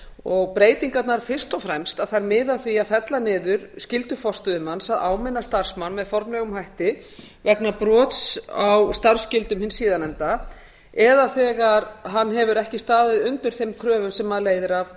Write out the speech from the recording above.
og breytingarnar miða fyrst og fremst að því að fella niður skyldu forstöðumanns að áminna starfsmann með formlegum hætti vegna brots á starfsskyldum hins síðarnefnda eða þegar hann hefur ekki staðið undir þeim kröfum sem leiðir